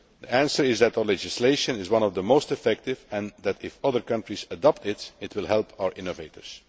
The answer is that our legislation is one of the most effective, and that if other countries adopt it, it will help our innovators.